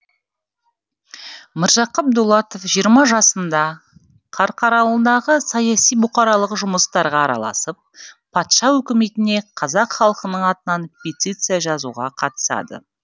міржақып дулатов жиырма жасында қарқаралыдағы саяси бұқаралық жұмыстарға араласып патша өкіметіне қазақ халқының атынан петиция жазуға қатысады